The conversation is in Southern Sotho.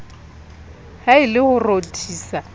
ha e le ho rothisa